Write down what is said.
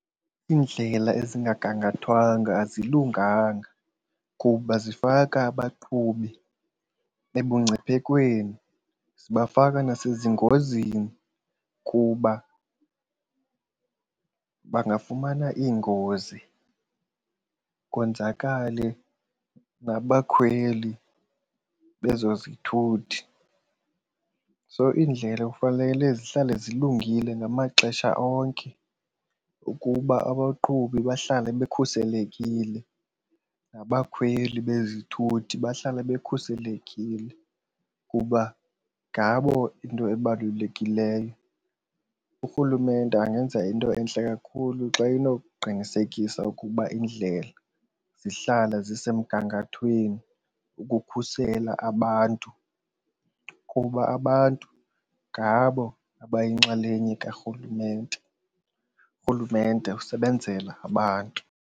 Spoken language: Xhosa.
Iindlela ezingagangathwanga azilunganga kuba zifaka abaqhubi ebungciphekweni, zibafaka nasezingozini kuba bangafumana iingozi konzakale nabakhweli bezo zithuthi. So iindlela kufanele zihlale zilungile ngamaxesha onke ukuba abaqhubi bahlale bekhuselekile nabakhweli bezithuthi bahlale bekhuselekile kuba ngabo into ebalulekileyo. Urhulumente angenza into entle kakhulu xa enokuqinisekisa ukuba iindlela zihlala zisemgangathweni ukukhusela abantu kuba abantu ngabo abayinxalenye karhulumente, urhulumente usebenzela abantu.